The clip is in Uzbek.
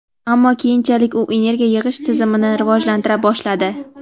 ammo keyinchalik u energiya yig‘ish tizimini rivojlantira boshladi.